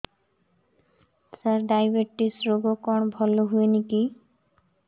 ସାର diabetes ରୋଗ କଣ ଭଲ ହୁଏନି କି